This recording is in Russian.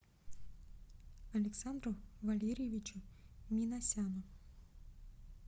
александру валерьевичу минасяну